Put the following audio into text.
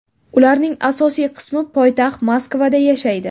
Ularning asosiy qismi poytaxt Moskvada yashaydi.